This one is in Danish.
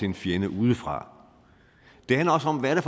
en fjende udefra det handler også om hvad